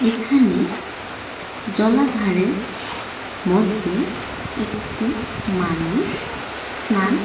এখানে জলাধারের মধ্যে একটি মানুষ স্নান--